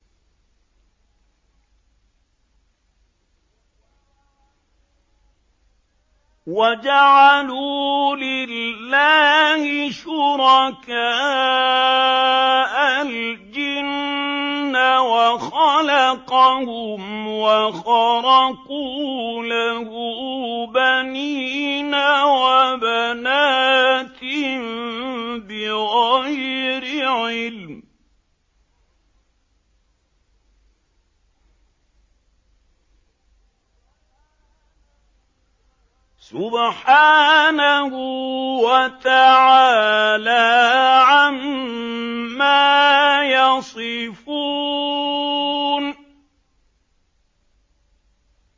وَجَعَلُوا لِلَّهِ شُرَكَاءَ الْجِنَّ وَخَلَقَهُمْ ۖ وَخَرَقُوا لَهُ بَنِينَ وَبَنَاتٍ بِغَيْرِ عِلْمٍ ۚ سُبْحَانَهُ وَتَعَالَىٰ عَمَّا يَصِفُونَ